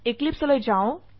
এক্লিপছে লৈ যাও